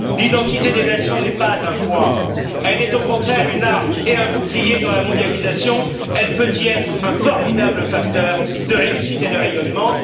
L'identité des nations n'est pas un poids, elle est au contraire une arme et un bouclier dans la mondialisation, elle peut y être un formidable facteur de réussite et de rayonnement.